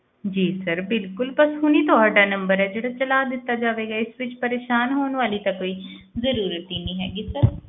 ਜੀ sir ਬਿਲਕੁਲ ਬਸ ਹੁਣੀ ਤੁਹਾਡਾ number ਹੈ ਜਿਹੜਾ ਚਲਾ ਦਿੱਤਾ ਜਾਵੇਗਾ, ਇਸ ਵਿੱਚ ਪਰੇਸ਼ਾਨ ਹੋਣ ਵਾਲੀ ਤਾਂ ਕੋਈ ਜ਼ਰੂਰਤ ਹੀ ਨੀ ਹੈਗੀ sir